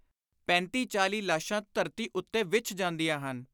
ਪੈਂਤੀ ਚਾਲੀ ਲਾਸ਼ਾਂ ਧਰਤੀ ਉੱਤੇ ਵਿਛ ਜਾਂਦੀਆਂ ਹਨ।